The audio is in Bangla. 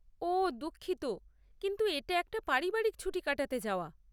ওহ দুঃখিত, কিন্তু এটা একটা পারিবারিক ছুটি কাটাতে যাওয়া।